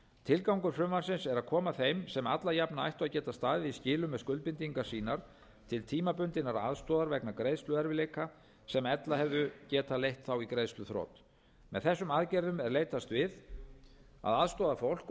tilgangur frumvarpsins er að koma þeim sem alla jafna ættu að geta staðið í skilum með skuldbindingar sínar til tímabundinnar aðstoðar vegna greiðsluerfiðleika sem ella hefðu getað leitt þá í greiðsluþrot með þessum aðgerðum er leitast við að aðstoða fólk